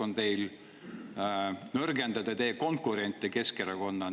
Eesmärk on nõrgendada konkurente, näiteks Keskerakonda.